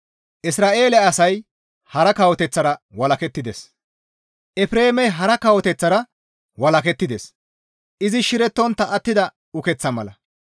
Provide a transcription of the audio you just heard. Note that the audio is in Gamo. «Efreemey hara kawoteththatara walakettides; izi shirettontta attida ukeththa mala.